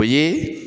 O ye